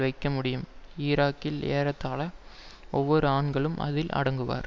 வைக்க முடியும் ஈராக்கில் ஏறத்தாழ ஒவ்வொரு ஆண்களும் அதில் அடங்குவர்